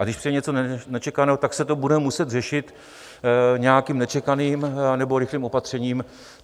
A když přijde něco nečekaného, tak se to bude muset řešit nějakým nečekaným anebo rychlým opatřením.